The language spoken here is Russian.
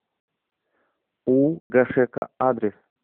у гашека адрес